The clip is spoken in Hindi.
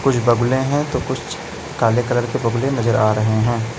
कुछ बगुले हैं तो कुछ काले कलर के बगुले नजर आ रहे हैं।